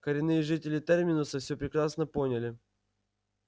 коренные жители терминуса все прекрасно поняли